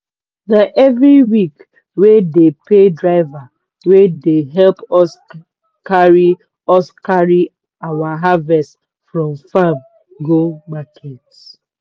na everyweek wey dey pay driver wey dey help us carry us carry our harvest from farm go market.